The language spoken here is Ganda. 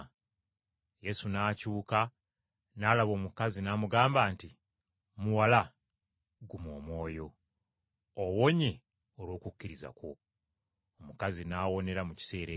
Yesu n’akyuka n’alaba omukazi n’amugamba nti, “Muwala, guma omwoyo! Owonye olw’okukkiriza kwo.” Omukazi n’awonera mu kiseera ekyo.